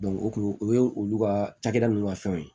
o kun o ye olu ka cakɛda ninnu ka fɛnw ye